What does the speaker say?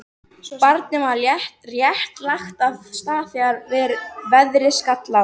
Barnið var rétt lagt af stað þegar veðrið skall á.